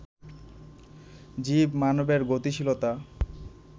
জীব মানবের গতিশীলতা